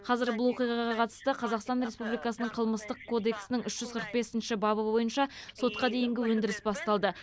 қазір бұл оқиғаға қатысты қазақстан республикасының қылмыстық кодексінің үш жүз қырық бесінші бабы бойынша сотқа дейінгі өндіріс басталды